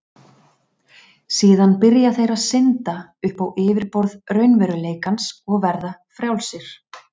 Síðan byrja þeir að synda upp á yfirborð raunveruleikans og verða frjálsir.